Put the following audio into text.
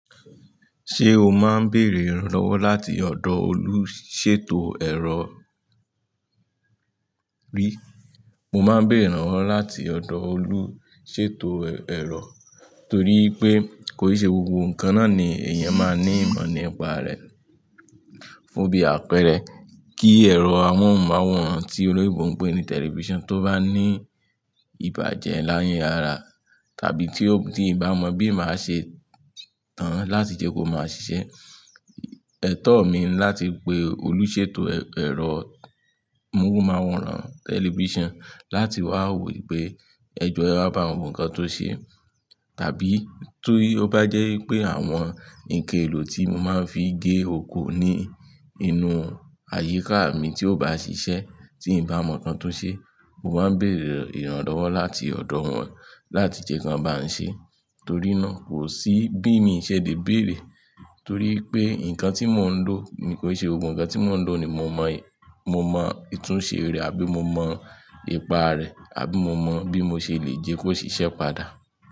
Ṣé o máa ń béèrè ìrànlọ́wọ́ láti ọ̀dọ̀ olùṣètò ẹ̀rọ rí? Mo máa ń béèrè ìrànlọ́wọ́ láti ọ̀dọ̀ olùṣètò ẹ̀rọ torí pé kò ì ṣe gbogbo nǹkan náà ni èèyàn máa ní ìmọ̀ nípa rẹ̀. Fun bí àpẹẹrẹ, kí ẹ̀rọ amóhùnmáwòrán tí olóyinbo pè ní tẹlifíṣàn tó bá ní ìbàjẹ́ la ara tàbí tí ò, tí n bá mọ bí màá ṣe tán an láti jẹ́ kó máa ṣiṣẹ́. Ètọ́ mi ni láti pe olùṣètò ẹ̀rọ amóhùnmáwòrán tẹlifíṣàn láti wá wò pé ẹjọ́ ewa bá wo nǹkan tó ṣe tàbí ti o bá jẹ́ pé àwọn nnkan elò tí mo máa ń fi gé oko ní inú àyíká mi tí ò bá ṣiṣẹ́, tí n bá mọ̀ nǹkan tó ṣe, mo máa ń béèrè ìrànlọ́wọ́ láti ọ̀dọ̀ wọn láti jẹ́ kí wọ́n bá n ṣe. Torí náà, kò sí bí mi ṣe lè bèèrè torí pé nǹkan tí mò ń lò ni kò ì ṣe gbogbo nǹkan tí mò ń lò ni mo mọ è, mo mọ ìtúnṣe rẹ̀ àbí mo mọ ipa rẹ̀ àbí mo mọ bí mo ṣe lè jẹ́ kó ṣiṣẹ́ padà.